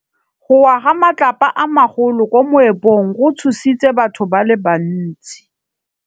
Go wa ga matlapa a magolo ko moepong go tshositse batho ba le bantsi.